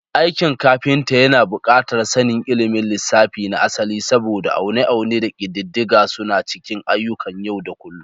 Aikin kafinta yana buƙatar sanin ilimin lissafi na asali, saboda aune-aune da ƙididdiga suna cikin ayyukan yau da kullun.